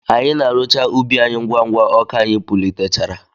Anyị na arụcha ubi any ngwa ngwa ọka anyị pulitechara.